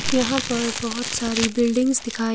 यहां पर बहोत सारी बिल्डिंग्स दिखाई--